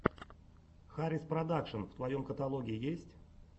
хариспродакшн в твоем каталоге есть